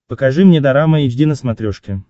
покажи мне дорама эйч ди на смотрешке